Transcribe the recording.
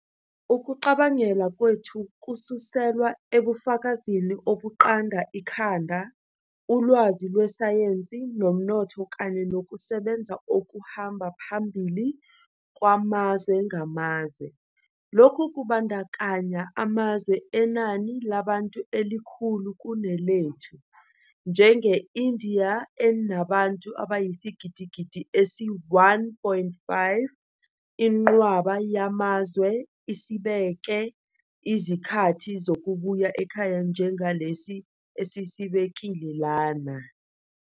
Ukucabangela kwethu kususelwa ebufakazini obuqanda ikhanda, ulwazi lwesayensi nomnotho kanye nokusebenza okuhamba phambili kwamazwe ngamazwe. Lokhu kubandakanya amazwe anenani labantu elikhulu kunelethu, njenge-India enabantu abayisigidigidi esi-1.5. Inqwaba yamazwe isibeke izikhathi zokubuya ekhaya njengalesi esisibekile lana.